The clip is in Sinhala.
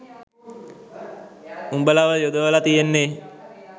උඹලව යොදවල තියෙන්නේ